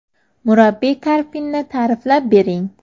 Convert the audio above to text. Murabbiy Karpinni ta’riflab bering.